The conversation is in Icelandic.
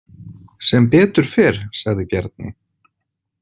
Sem betur fer, sagði Bjarni.